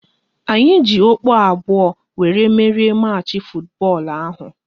Anyị ji okpu abụọ wéré merie machi futubọọlu ahụ